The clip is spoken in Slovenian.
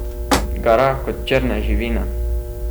Gara kot črna živina!